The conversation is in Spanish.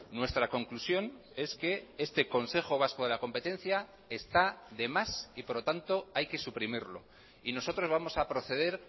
nuestra conclusión es que este consejo vasco de la competencia está demás y por lo tanto hay que suprimirlo y nosotros vamos a proceder